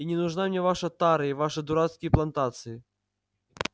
и не нужна мне ваша тара и ваши дурацкие плантации